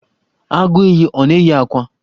Agụiyi ọ na-eyi akwa?